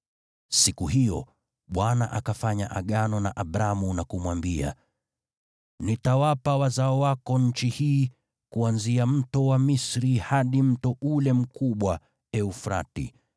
Siku hiyo Bwana akafanya Agano na Abramu, na kumwambia, “Nitawapa wazao wako nchi hii, kuanzia Kijito cha Misri hadi mto ule mkubwa, Frati,